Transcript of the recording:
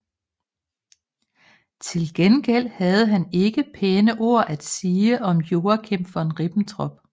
Til gengæld havde han ikke pæne ord at sige om Joachim von Ribbentrop